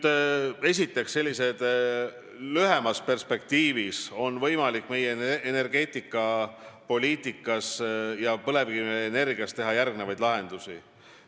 Esiteks, lühemas perspektiivis on energiapoliitikas ja põlevkivienergeetikas järgmised lahendused.